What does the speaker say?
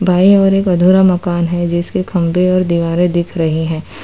By ओर एक अधूरा मकान है जिसके खंभे और दीवारें दिख रहे हैं।